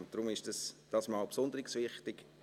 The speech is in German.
Deshalb ist das dieses Mal besonders wichtig.